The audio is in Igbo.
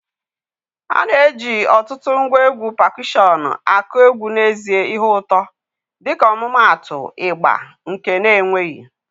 A na-eji ọtụtụ ngwa egwu pakushọnụ akụ egwu n'ezie ihe ụtọ, dịka ọmụmaatụ, ịgbà, nke na-enweghị.